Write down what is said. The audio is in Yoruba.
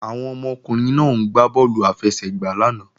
Àwọn ọmọkùnrin náà ń gbá bọ́ọ̀lù àfẹsẹ̀gbá lánàá